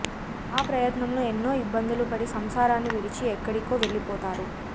ఆ ప్రయత్నంలో ఎన్నో ఇబ్బందులు పడి సంసారాన్ని విడిచి ఎక్కడికో వెళ్ళిపోతాడు